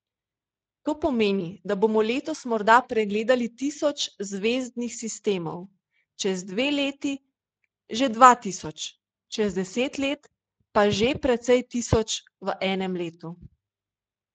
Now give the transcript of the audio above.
To pomeni, da bomo letos morda pregledali tisoč zvezdnih sistemov, čez dve leti že dva tisoč, čez deset let pa že precej tisoč v enem letu.